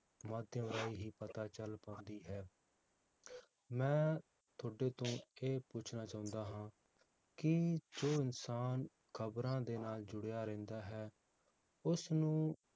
ਮਾਧਿਅਮ ਰਾਹੀਂ ਹੀ ਪਤਾ ਚਲ ਪਾਉਂਦੀ ਹੈ ਮੈ ਤੁਹਾਡੇ ਤੋਂ ਇਹ ਪੁੱਛਣਾ ਚਾਹੁੰਦਾ ਹਾਂ ਕਿ ਜੋ ਇਨਸਾਨ ਖਬਰਾਂ ਦੇ ਨਾਲ ਜੁੜਿਆ ਰਹਿੰਦਾ ਹੈ, ਉਸ ਨੂੰ